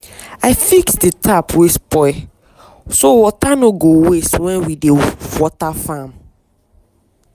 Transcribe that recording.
i fix the tap wey spoil so water no go waste when we dey water farm.